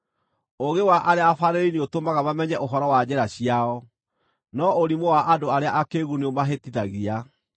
Ũũgĩ wa arĩa abaarĩrĩri nĩũtũmaga mamenye ũhoro wa njĩra ciao, no ũrimũ wa andũ arĩa akĩĩgu nĩũmahĩtithagia.